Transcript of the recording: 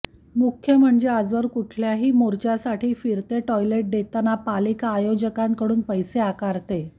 मुख्य म्हणजे आजवर कुठल्याही मोर्चासाठी फिरते टाॅयलेट देतांना पालिका आय़ोजकांकडून पैसे आकारते